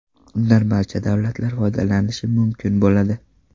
Undan barcha davlatlar foydalanishi mumkin bo‘ladi.